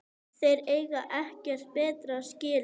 Þeir eiga ekkert betra skilið